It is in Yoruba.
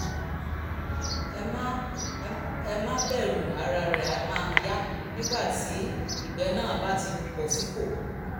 ẹ má ẹ má bẹ̀rù ara rẹ̀ máa yá nígbà tí ìgbẹ́ náà bá ti bọ̀ sípò